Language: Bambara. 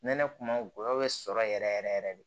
Nɛnɛ kuma golo bɛ sɔrɔ yɛrɛ yɛrɛ yɛrɛ yɛrɛ de